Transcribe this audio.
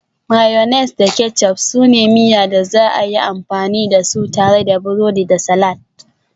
Mayonnaise da ketchup su ne miya da za a iya amfani da su tare da burodi da salad